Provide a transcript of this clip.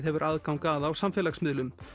hefur aðgang að á samfélagsmiðlum